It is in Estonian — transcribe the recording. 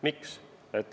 Miks?